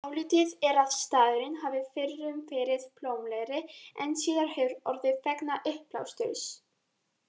Álitið er að staðurinn hafi fyrrum verið blómlegri en síðar hefur orðið vegna uppblásturs.